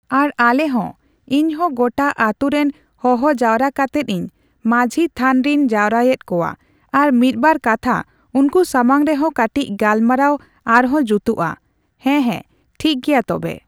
ᱟᱨ ᱟᱞᱮ ᱦᱚᱸ, ᱤᱧᱦᱚᱸ ᱜᱚᱴᱟ ᱟᱹᱛᱩ ᱨᱮᱱ ᱦᱚᱦᱚ ᱡᱟᱣᱨᱟ ᱠᱟᱛᱮᱫ ᱤᱧ ᱢᱟᱺᱡᱷᱤ ᱛᱷᱟᱱ ᱨᱤᱧ ᱡᱟᱣᱨᱟᱭᱮᱫ ᱠᱚᱣᱟ ᱟᱨ ᱢᱤᱫ ᱵᱟᱨ ᱠᱟᱛᱷᱟ ᱩᱱᱠᱩ ᱥᱟᱢᱟᱝ ᱨᱮᱦᱚᱸ ᱠᱟᱴᱤᱪ ᱜᱟᱞᱢᱟᱨᱟᱣ ᱟᱨᱦᱚᱸ ᱡᱩᱛᱩᱜᱼᱟ᱾ ᱦᱮᱸ, ᱦᱮᱸ᱾ ᱴᱷᱤᱠᱜᱮᱭᱟ ᱛᱚᱵᱮ᱾